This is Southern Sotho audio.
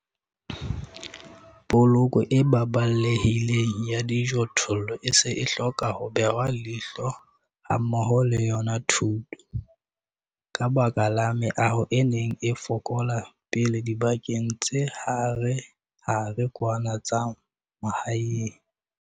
Poloko e baballehileng ya dijothollo e se e hloka ho behwa leihlo hammoho le yona thuto, ka baka la meaho e neng e fokola pele dibakeng tse harehare kwana tsa mahaeng.